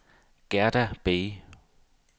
Gerda Bay